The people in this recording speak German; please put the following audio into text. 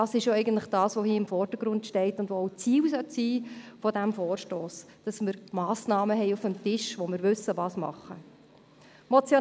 Das ist es ja, was hier im Vordergrund steht und was auch Ziel dieses Vorstosses sein sollte, nämlich dass wir Massnahmen auf dem Tisch haben und wissen, wie vorzugehen ist.